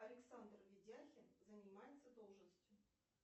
александр ведяхин занимается должностью